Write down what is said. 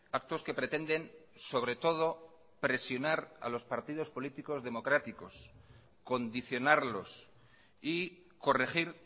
actos que pretenden sobre todo presionar a los partidos políticos democráticos condicionarlos y corregir